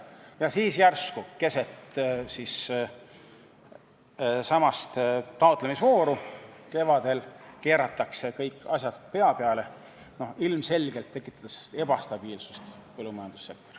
Ja siis järsku kevadel, keset taotlemisvooru keeratakse kõik asjad pea peale, tekitades põllumajandussektoris ilmselgelt ebastabiilsust.